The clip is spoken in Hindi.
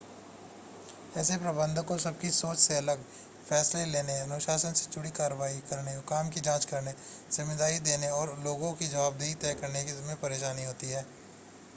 ऐसे प्रबंधक को सबकी सोच से अलग फै़सले लेने अनुशासन से जुड़ी कार्रवाई करने काम की जांच करने ज़िम्मेदारी देने और लोगों की ज़वाबदेही तय करने में परेशानी होती है